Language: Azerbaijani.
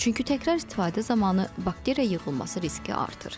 Çünki təkrar istifadə zamanı bakteriya yığılması riski artır.